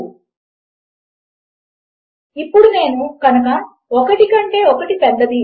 ఇప్పుడు మనము దానిని ఓర్ అని వ్రాయము మనము దానిని రెండు వరుస లైన్లు గా లేదా రెండు పైప్ లలా వ్రాస్తాము